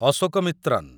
Ashokamitran